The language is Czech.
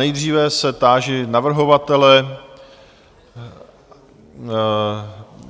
Nejdříve se táži navrhovatele,